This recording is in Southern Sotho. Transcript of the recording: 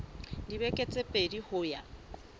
dibeke tse pedi ho ya